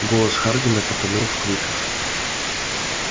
голос хардина потонул в криках